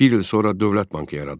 Bir il sonra Dövlət Bankı yaradıldı.